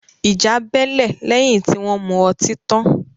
Ìjà bẹ́lẹ̀ lẹ́yìn tí wọn mu ọtí tan